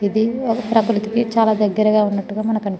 ఇది ప్రకృతికి చాల దెగరగా ఉనట్టు మనకి --.